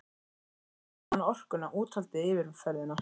Ekki vantaði hana orkuna, úthaldið, yfirferðina.